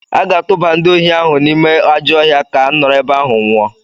A ga-atụba ndị ohi ahụ n’ime ajọ ọhịa ka nọrọ ebe ahụ nwụọ.